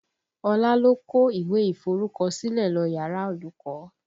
Ọlá ló kó ìwé iforukosile lọ yàrá olùkọ́